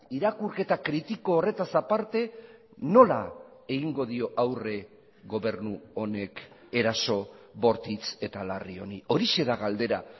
irakurketa kritiko horretaz aparte nola egingo dio aurre gobernu honek eraso bortitz eta larri honi horixe da galdera